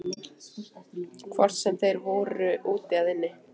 Hvort sem þeir voru úti eða inni.